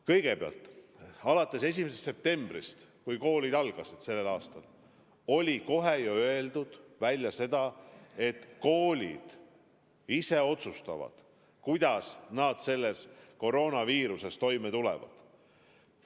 Kõigepealt, 1. septembril, kui koolid algasid, sai kohe välja öeldud, et koolid ise otsustavad, kuidas nad koroonaviiruse ajal toime tulevad.